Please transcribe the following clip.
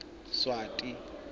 swati